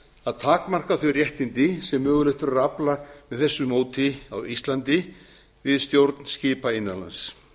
að takmarka þau réttindi sem mögulegt verður að afla með þessu móti á íslandi við stjórn skipa innan lands